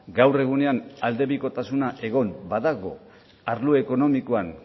gaur egunean aldebikotasuna egon badago arlo ekonomikoan